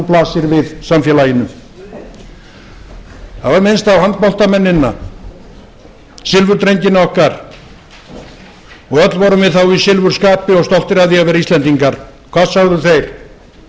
blasir við samfélaginu það var minnst á handboltamennina silfurdrengina okkar og öll vorum við þá í silfurskapi og stolt af því að vera íslendingar hvað sögðu þeir